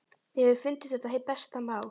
Þér hefur fundist þetta hið besta mál?